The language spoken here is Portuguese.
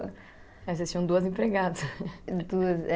Aí vocês tinham duas empregadas. Duas, é